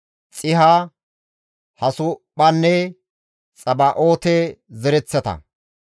Barqoosa, Sisaaranne Temahe zereththata,